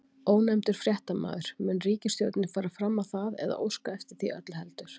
Ónefndur fréttamaður: Mun ríkisstjórnin fara fram á það, eða óska eftir því öllu heldur?